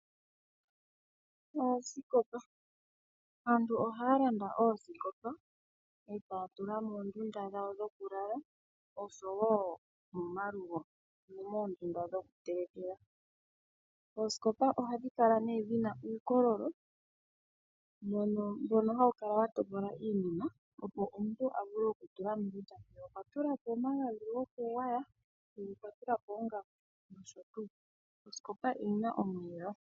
Oosikopa Aantu ohaya landa oosikopa e taya tula moondunda dhawo dhokulala osho wo momalugo, ano moondunda dhokutelekela. Oosikopa ohadhi kala nee dhi na uukololo mbono hawu kala wa topola iinima, opo omuntu a vule okutula mo kutya mwiya okwa tula mo omagadhi gokugwaya, mpeya okwa tula po oongaku nosho tuu. Osikopa oyi na omiyelo.